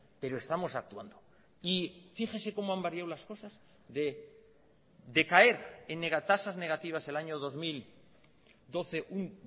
pero estamos actuando y fíjese como han variado las cosas de decaer en negatasas negativas el año dos mil doce un